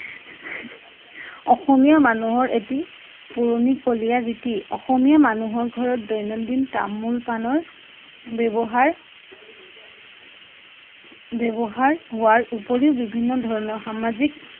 অসমীয়া অসমীয়া মানুহৰ এটি পুৰণিকলীয়া ৰীতি । অসমীয়া মানুহৰ ঘৰত দৈনন্দিন তামোল পাণৰ ব্যৱহাৰ ব্যৱহাৰ হোৱাৰ উপৰিও বিভিন্ন ধৰণৰ সামাজিক